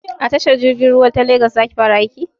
A tashar jirgin ruwa ta legas za ki fara aiki?